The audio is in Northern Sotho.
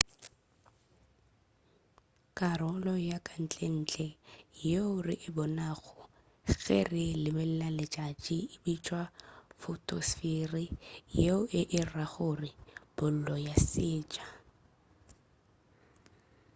karolo ya kantlentle yeo re e bonago ge re lebelela letšatši e bitšwa photosphere yeo e e ra gore bolo ya seetša